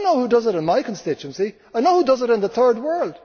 I know who does it in my constituency, I know who does it in the Third World.